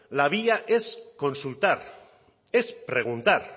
la vía es consultar es preguntar